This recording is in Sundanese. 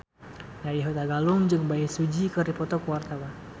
Nadya Hutagalung jeung Bae Su Ji keur dipoto ku wartawan